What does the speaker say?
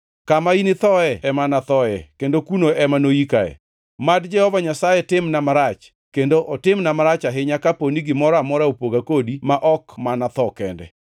Kama inithoe ema anathoe kendo kuno ema noyikae. Mad Jehova Nyasaye timna marach, kendo otimna marach ahinya, kapo ni gimoro amora opoga kodi ma ok mana tho kende!”